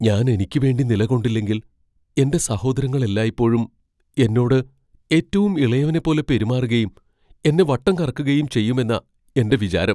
ഞാൻ എനിക്കുവേണ്ടി നിലകൊണ്ടില്ലെങ്കിൽ, എന്റെ സഹോദരങ്ങൾ എല്ലായ്പ്പോഴും എന്നോട് ഏറ്റവും ഇളയവനെപ്പോലെ പെരുമാറുകയും എന്നെ വട്ടം കറക്കുകയും ചെയ്യുമെന്നാ എന്റെ വിചാരം.